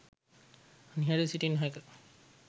නිහඬව සිටිය නොහැක.